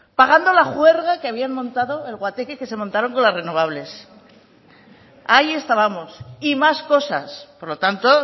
pagando la juerga que habían montado el guateque que se montaron con las renovables ahí estábamos y más cosas por lo tanto